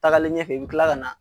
Tagalen ɲɛfɛ i bi kila ka na